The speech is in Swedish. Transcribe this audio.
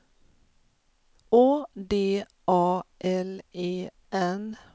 Å D A L E N